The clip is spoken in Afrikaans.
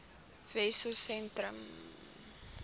wessosentrum